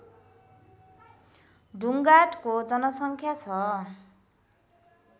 ढुङ्गाडको जनसङ्ख्या छ